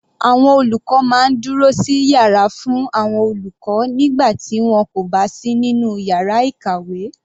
Àwọn olùkọ́ máa ń dúró sí yàrá fún àwọn olùkọ́ nígbà tí wọn kò bá sí nínú yàrá ìkàwé.